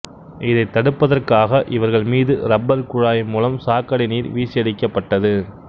இதைத் தடுப்பதற்காக இவர்கள் மீது ரப்பர் குழாய் மூலம் சாக்கடைநீர் வீசியடிக்கப்பட்டது